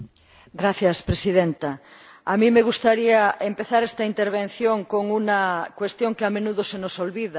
Señora Presidenta, a mí me gustaría empezar esta intervención con una cuestión que, a menudo, se nos olvida.